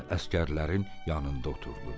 Özü də əsgərlərin yanında oturdu.